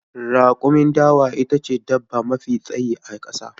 Rakumin dawa ita ce dabba mafi tsayi a ƙasa.